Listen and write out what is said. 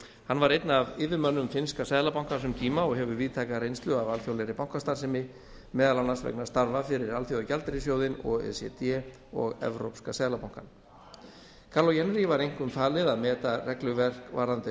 hann var einn af yfirmönnum finnska seðlabankans um tíma og hefur víðtæka reynslu af alþjóðlegri bankastarfsemi meðal annars vegna starfa fyrir alþjóðagjaldeyrissjóðinn o e c d og evrópska seðlabankann kaarlo jännäri var einkum falið að meta regluverk varðandi